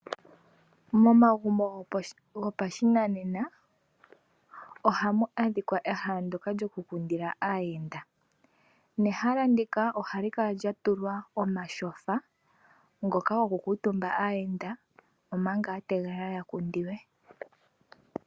Momagumbo goposhinanena ohamu adhika ehala ndyoka lyokukundila aahenda nehala ndika ohali kala lyatulwa omatyofa ngoka gokukutumba aahenda omanga ya tegelela yakundiwe.